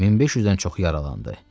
1500-dən çox yaralandı.